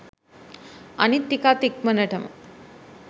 අනිත් ටිකත් ඉක්මනටම